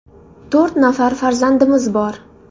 To‘rt nafar farzandimiz bor.